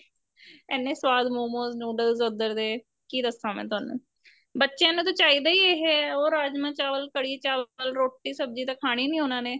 ਇੰਨੇ ਸਵਾਦ ਮੋਮੋਸ ਨੂਡਲ ਉੱਧਰ ਦੇ ਕੀ ਦਸਾ ਮੈਂ ਤੁਹਾਨੂੰ ਬੱਚਿਆਂ ਨੂੰ ਤਾਂ ਚਾਹੀਦਾ ਈ ਇਹ ਹੈ ਉਹ ਰਾਜਮਾ ਚਾਵਲ ਕੜੀ ਚਾਵਲ ਰੋਟੀ ਸਬਜੀ ਤਾਂ ਖਾਣੀ ਨੀਂ ਉਹਨਾ ਨੇ